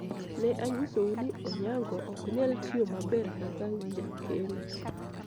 ne anyisou ni Onyango ok nyal tiyo maber kaka jakeno